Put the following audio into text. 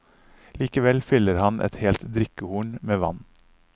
Likevel fyller han et helt drikkehorn med vann.